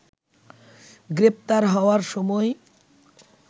গ্রেপ্তার হওয়ার সময়